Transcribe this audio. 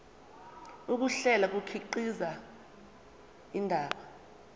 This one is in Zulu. ukuhlela kukhiqiza indaba